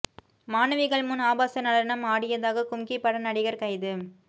மாணவிகள் முன் ஆபாச நடனம் ஆடியதாக கும்கி பட நடிகர் கைது